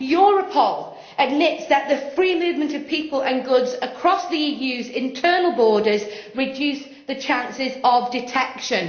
Europol admits that the free movement of people and goods across the EU's internal borders reduces the chances of detection.